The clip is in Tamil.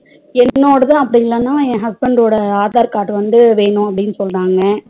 என்னோடது அப்டியில்லன என் husband ஓட aadhar card வந்து வேணும் அப்டினு சொன்னங்க